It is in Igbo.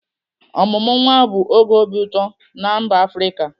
Ọmụmụ nwa bụ oge obi ụtọ na mba Afrịka.